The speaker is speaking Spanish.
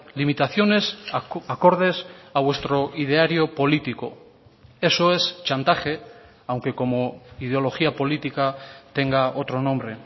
limitaciones acordes a vuestro ideario político eso es chantaje aunque como ideología política tenga otro nombre